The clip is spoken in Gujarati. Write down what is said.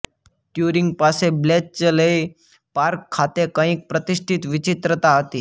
ટ્યુરિંગ પાસે બ્લેત્ચલેય પાર્ક ખાતે કંઈક પ્રતિષ્ઠિત વિચિત્રતા હતી